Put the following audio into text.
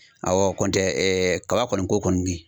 Awɔ kɔntɛ ɛɛ kaba kɔni ko kɔni bi